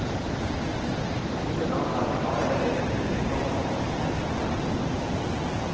Noen av dem er allerede blitt gjengangere. punktum